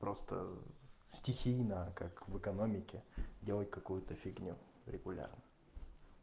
просто стихийно как в экономике делать какую-то фигню регулярно